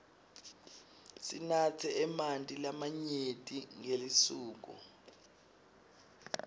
sinatse emanti lamanyenti ngelisuku